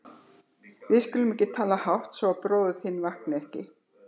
Við skulum ekki tala hátt, svo að bróðir þinn vakni ekki.